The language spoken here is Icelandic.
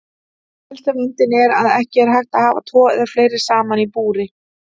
Helsti vandinn er að ekki er hægt að hafa tvo eða fleiri saman í búri.